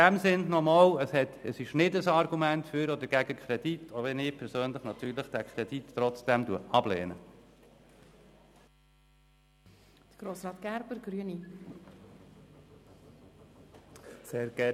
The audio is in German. In diesem Sinn noch einmal: Das ist nicht ein Argument für oder gegen den Kredit, auch wenn ich persönlich natürlich trotzdem diesen Kredit ablehne.